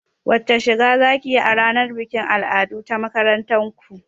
Wace shiga zakiyi a ranar bikin al'adu ta makarantar ku?